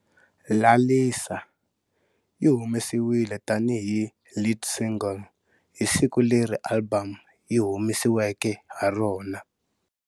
" Lalisa" yi humesiwile tani hi lead single hi siku leri album yi humesiweke ha rona.